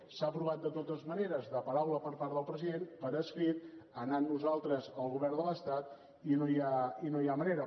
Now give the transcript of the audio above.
s’ha provat de totes maneres de paraula per part del president per escrit anant nosaltres al govern de l’estat i no hi ha manera